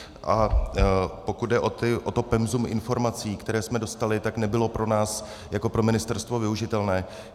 A pokud jde o to penzum informací, které jsme dostali, tak nebylo pro nás jako pro ministerstvo využitelné.